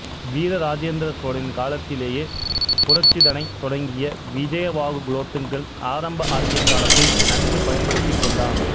வீர ராஜேந்திர சோழனின் காலத்திலேயே புரட்சிதனைத் தொடங்கிய விஜயபாகு குலோத்துங்கன் ஆரம்ப ஆட்சிக் காலத்தை நன்கு பயன் படுத்திக் கொண்டான்